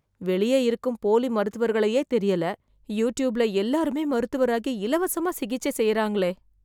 வெளியே இருக்கும் போலி மருத்துவர்களையே தெரியல... யூட்யூப்ல எல்லாருமே மருத்துவராகி இலவசமா சிகிச்சை செய்றாங்களே..